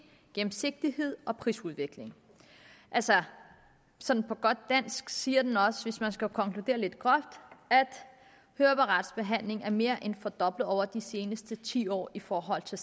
gennemsigtighed og prisudvikling altså sådan på godt dansk siger den også hvis man skal konkludere lidt groft at høreapparatbehandling er mere end fordoblet over de seneste ti år i forhold til